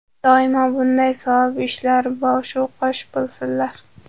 Doimo bunday savob ishlarda boshu qosh bo‘lsinlar!